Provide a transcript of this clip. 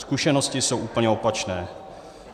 Zkušenosti jsou úplně opačné.